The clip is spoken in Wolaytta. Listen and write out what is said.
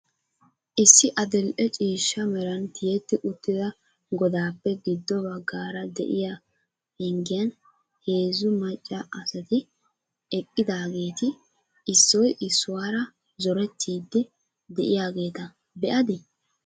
Issi adil"e ciishshaa meran tiyyetti uttida godappe giddo baggaara de'iyaa penggiyan heezzu maccaa asati eqqidaageeti issoy issuwaara zorettidi de'iyaageeta be'adi?